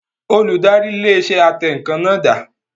Olùdarí ilé iṣẹ́ atẹǹkan náà dà?